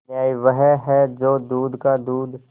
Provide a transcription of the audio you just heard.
न्याय वह है जो दूध का दूध